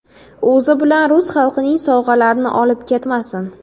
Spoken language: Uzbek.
O‘zi bilan rus xalqining sovg‘alarini olib ketmasin.